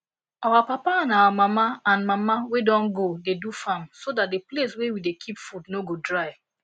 our papa and our papa and mama wey don go dey do farm so that the place wey we dey keep food no go dry